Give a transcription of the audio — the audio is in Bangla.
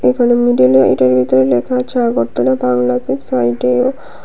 এখানে মিডলে এটার ভিতরে লেখা আছে আগরতলা বাংলাতে সাইডে--